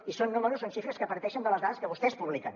i són números són xifres que parteixen de les dades que vostès publiquen